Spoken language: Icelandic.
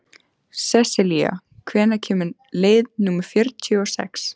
Sesselía, hvenær kemur leið númer fjörutíu og sex?